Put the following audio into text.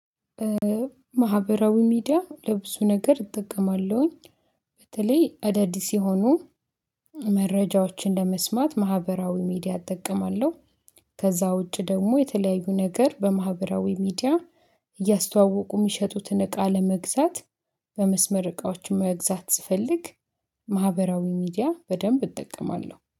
ማህበራዊ ሚዲያ ለብዙ ነገር እጠቀማለሁኝ። በተለይ አዳዲስ የሆኑ መረጃዎችን ለመስማት ማህበራዊ ሚዲያ እጠቀማለሁ። ከዛ ውጪ ደግሞ የተለያዩ ነገር በማህበራዊ ሚዲያ እያስተዋወቁ የሚሸጡትን እቃ ለመግዛት በመስመር እቃዎች መግዛት ስፈልግ። ማህበራዊ ሚዲያ በደንብ እጠቀማለሁ